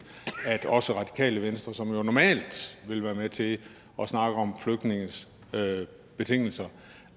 at også radikale venstre som normalt vil være med til at snakke om flygtninges betingelser